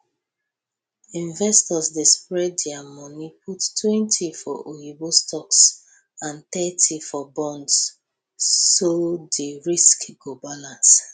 investors dey spread dia moni puttwentyfor oyibo stocks and thirty for bonds so di risk go balance